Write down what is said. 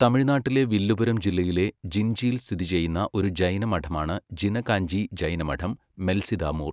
തമിഴ്നാട്ടിലെ വില്ലുപുരം ജില്ലയിലെ ജിൻജിയിൽ സ്ഥിതിചെയ്യുന്ന ഒരു ജൈന മഠമാണ് ജിന കാഞ്ചി ജൈന മഠം, മെൽസിതാമൂർ.